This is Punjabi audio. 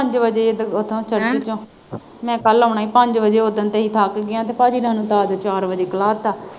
ਪੰਜ ਵਜੇ ਉੱਥੋਂ church ਚੋਂ ਮੈਂ ਕੱਲ੍ਹ ਆਉਣਾ ਹੀ ਪੰਜ ਵਜੇ ਉਸ ਦਿਨ ਤੁਸੀਂ ਥੱਕ ਗਈਆਂ ਹੀ ਪਾਜੀ ਨੇ ਸਾਨੂੰ ਚਾਰ ਵਜੇ ਕਹਿਤਾ।